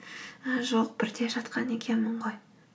ә жоқ бірде жатқан екенмін ғой